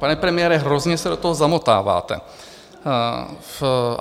Pane premiére, hrozně se do toho zamotáváte.